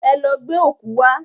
Ẹ lọ gbẹ́ ọ̀kú wá!